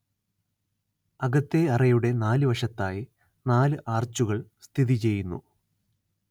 അകത്തേ അറയുടെ നാലു വശത്തായി നാലു ആർച്ചുകൾ സ്ഥിതി ചെയ്യുന്നു